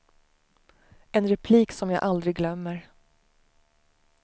En replik som jag aldrig glömmer.